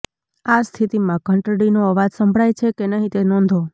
આ સ્થિતિમાં ઘંટડીનો અવાજ સંભળાય છે કે નહીં તે નોંધો